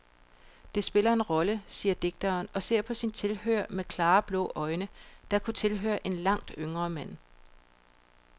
Det spiller en rolle, siger digteren og ser på sin tilhører med klare blå øjne, der kunne tilhøre en langt yngre mand.